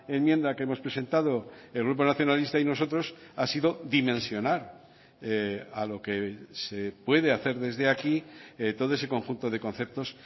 enmienda que hemos presentado el grupo nacionalista y nosotros ha sido dimensionar a lo que se puede hacer desde aquí todo ese conjunto de conceptos